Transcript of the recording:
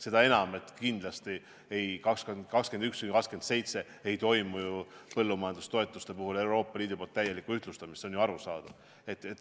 Seda enam, et kindlasti ei toimu ju põllumajandustoetuste puhul Euroopa Liidus täielikku ühtlustamist, see on arusaadav.